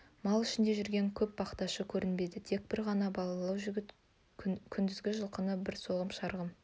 мал ішінде жүрген көп бақташы көрінбеді тек бір ғана балалау жігіт күндізгі жылқышы бар соған шырағым